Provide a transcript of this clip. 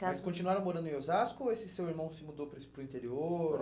Mas continuaram morando em Osasco ou esse seu irmão se mudou para o interior?